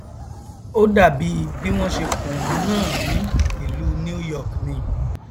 ó dàbí bí wọn ṣe kùn wọn náà ní ìlú new york ni